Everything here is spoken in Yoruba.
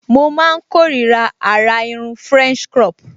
Mo máa n kórira àrà irun french crop